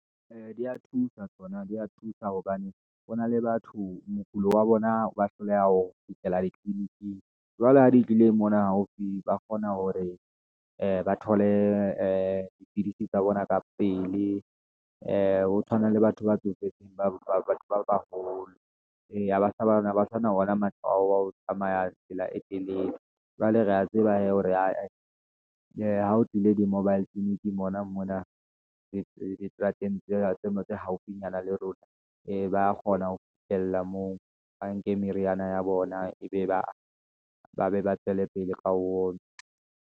Ee, di ya thusa tsona, di ya thusa hobane hona le batho mokulo wa bona, ba hloleha ho fihlela ditliliniking, jwale ha di tlile mona haufi, ba kgona hore ee ba thole ee dipidisi tsa bona ka pele, ee ho tshwana le batho ba tsofetseng, ba batho ba baholo. Ee ha basana ona matla ao a ho tsamaya tsela e telele. Jwale re ya tseba hee, hore ae, ee ha ho tlile di-mobile tliliniking hona mona, diterateng tsena tse mo tse haufinyana le rona, ee ba kgona ho fihlella moo, ba nke meriana ya bona, e be ba be ba tswele pele ka ho onwa.